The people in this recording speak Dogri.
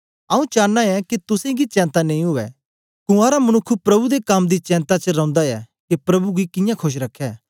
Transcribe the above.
आऊँ चानां ऐं के तुसेंगी चेंता नेई उवै कुँवारा मनुखक प्रभु दे कम दी चेंता च रौंदा ऐ के प्रभु गी कियां खोश रखै